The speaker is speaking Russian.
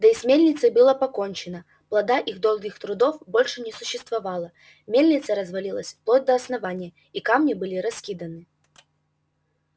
да и с мельницей было покончено плода их долгих трудов больше не существовало мельница развалилась вплоть до основания а камни были раскиданы